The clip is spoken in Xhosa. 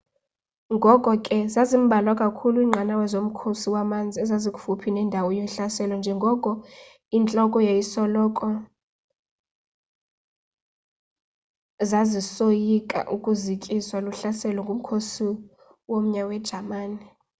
ngoko ke zazimbalwa kakhulu inqanawa zomkhosi wamanzi ezazikufuphi nendawo zohlaseleko njengoko intloko zasisoyika ukuzikiswa luhlaselo ngumkhosi womya wejamani